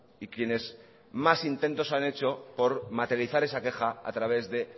y quienes más intentos han hecho por materializar esa queja a través de